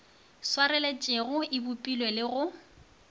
swareletšego e bopile le go